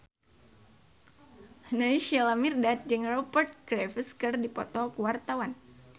Naysila Mirdad jeung Rupert Graves keur dipoto ku wartawan